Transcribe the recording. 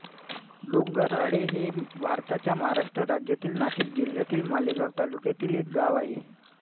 डोंगराळे हे भारताच्या महाराष्ट्र राज्यातील नाशिक जिल्ह्यातील मालेगाव तालुक्यातील एक गाव आहे